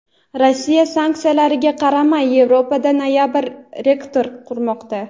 Rossiya sanksiyalarga qaramay Yevropada noyob reaktor qurmoqda.